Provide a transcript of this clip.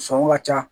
Sɔngɔ ka ca